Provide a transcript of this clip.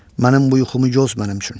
mənim bu yuxumu yoz mənim üçün.